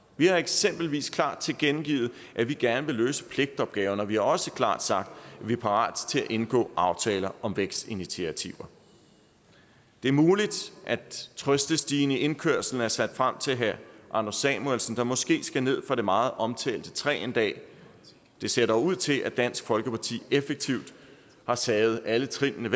vi har eksempelvis klart tilkendegivet at vi gerne vil løse pligtopgaverne og vi har også klart sagt at vi er parate til at indgå aftaler om vækstinitiativer det er muligt at trøstestigen i indkørslen er sat frem til herre anders samuelsen der måske skal ned fra det meget omtalte træ en dag det ser dog ud til at dansk folkeparti effektivt har taget alle trinene